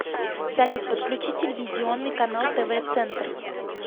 салют подключи телевизионный канал тв центр